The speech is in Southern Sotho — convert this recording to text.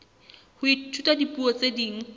ho ithuta dipuo tse ding